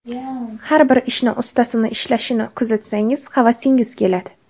Har bir ishni ustasini ishlashini kuzatsangiz, havasingiz keladi.